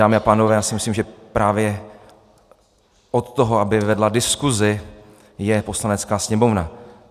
Dámy a pánové, já si myslím, že právě od toho, aby vedla diskusi, je Poslanecká sněmovna.